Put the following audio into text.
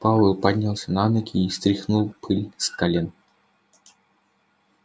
пауэлл поднялся на ноги и стряхнул пыль с колен